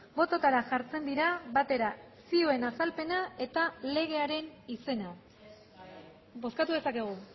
bototara jartzen dira batera zioen azalpena eta legearen izena bozkatu dezakegu